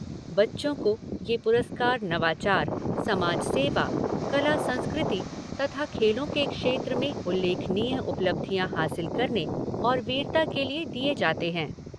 बच्चों को ये पुरस्कार नवाचार, समाज सेवा, कला संस्कृति तथा खेलों के क्षेत्र में उल्लेखनीय उपलब्धियां हासिल करने और वीरता के लिए दिए जाते हैं।